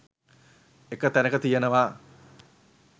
එක තැනක තියෙනවා